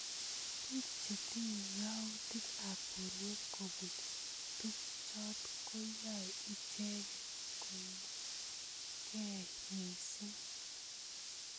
Bik chetinye yautik ab borwek kobun tukjot koyae icheket koimkei missing.